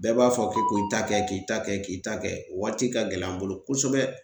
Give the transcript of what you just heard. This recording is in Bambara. Bɛɛ b'a fɔ ko k'i ta kɛ ,k'i ta kɛ k'i ta kɛ o waati ka gɛlɛn an bolo kosɛbɛ.